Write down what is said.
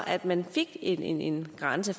at man fik en grænse